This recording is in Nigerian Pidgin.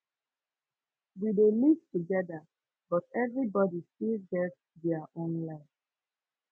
we dey live togeda but everybodi still get their own life